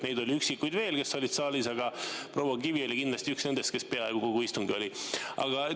Üksikuid oli veel, kes olid saalis, aga proua Kivi oli kindlasti üks nendest, kes peaaegu kogu istungi siin oli.